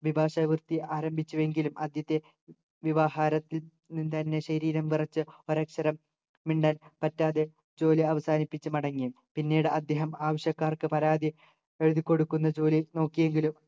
അഭിഭാഷകവൃത്തി ആരംഭിച്ചു എങ്കിലും ആദ്യത്തെ വ്യവഹാരത്തിൽ നിന്ന് തന്നെ ശരീരം വിറച്ച് ഒരക്ഷരം മിണ്ടാൻ പറ്റാതെ ജോലി അവസാനിപ്പിച്ചു മടങ്ങി പിന്നീട് അദ്ദേഹം ആവശ്യക്കാർക്ക് പരാതി എഴുതി ക്കൊടുക്കുന്ന ജോലി നോക്കിയെങ്കിലും